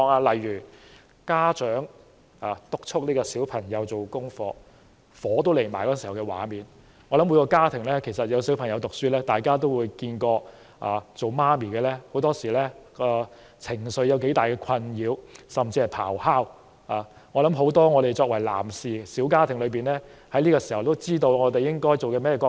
例如家長督促孩子做功課，氣上心頭的火爆場面，我想每個家庭在小朋友讀書時期，也會看過當母親的情緒受到多大困擾，甚至是咆哮如雷，我想作為小家庭的男士們，這個時候也應該知道我們要擔當甚麼角色。